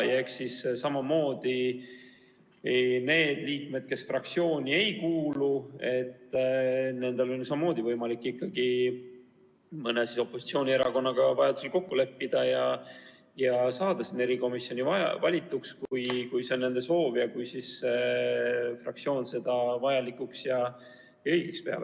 Aga nendel liikmetel, kes fraktsiooni ei kuulu, on samamoodi võimalik mõne opositsioonierakonnaga vajaduse korral kokku leppida ja saada komisjoni valituks, kui see on nende soov ja kui fraktsioon seda vajalikuks ja õigeks peab.